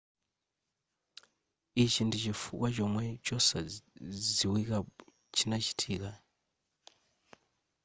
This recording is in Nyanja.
ichichi ndichifukwa chomwe chozizwachi chinachitika kamba ka maloto wosadziwika bwino kupangitsa kuti nthawi yitalike pakati pa rem states